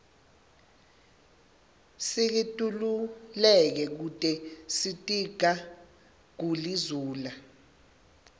sikitululeke kute sitiga guli zula